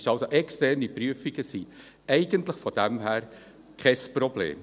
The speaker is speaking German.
Externe Prüfungen sind also von daher eigentlich kein Problem.